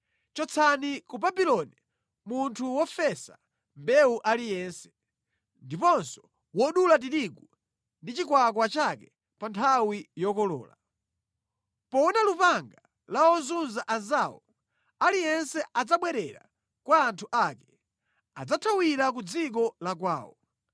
Chotsani ku Babuloni munthu wofesa mbewu aliyense, ndiponso wodula tirigu ndi chikwakwa chake pa nthawi yokolola. Poona lupanga la ozunza anzawo, aliyense adzabwerera kwa anthu ake; adzathawira ku dziko la kwawo.